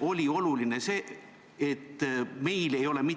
Oluline on